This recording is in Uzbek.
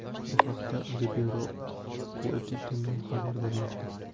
Bu haqda Libero Quotidiano xabar bermoqda .